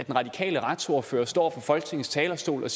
radikale retsordfører står på folketingets talerstol og